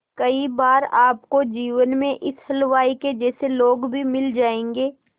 कई बार आपको जीवन में इस हलवाई के जैसे लोग भी मिल जाएंगे